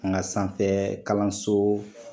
An ka sanfɛ kalanso